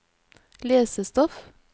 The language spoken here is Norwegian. lesestoff